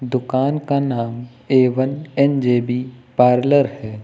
दुकान का नाम ए वन एन_जे_बी पार्लर है।